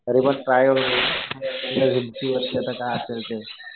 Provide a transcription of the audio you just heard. तरी पण ट्राय करू. म्हणलं जितकी वर्ष आता काय असेल ते.